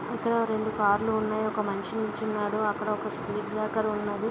ఇక్కడ ఒక రెండు కార్లు ఉన్నాయి ఒక మనిషి నించొని ఉన్నాడు అక్కడ ఒక స్పీడ్ బ్రేకర్ ఉంది.